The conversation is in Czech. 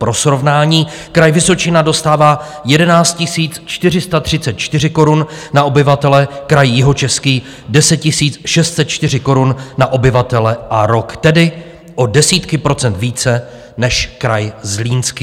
Pro srovnání, Kraj Vysočina dostává 11 434 korun na obyvatele, kraj Jihočeský 10 604 korun na obyvatele a rok, tedy o desítky procent více než kraj Zlínský.